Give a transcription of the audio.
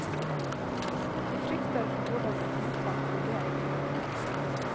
De frykter for hvordan et mottak fungerer.